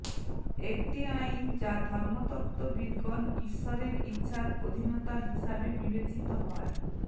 একটি আইন যা ধর্মতত্ত্ববিদগণ ঈশ্বরের ইচ্ছার অধীনতা হিসাবে বিবেচিত হয়